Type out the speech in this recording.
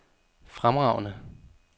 fremragende